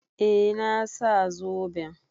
Eh, na sa zoben.